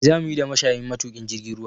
Me za mu yi da mashayin matuƙin jirgin ruwa?